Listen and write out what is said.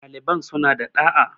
ɗaliban sun a da ɗa'a